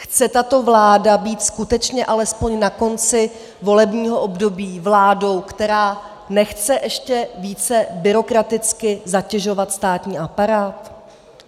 Chce tato vláda být skutečně alespoň na konci volebního období vládou, která nechce ještě více byrokraticky zatěžovat státní aparát?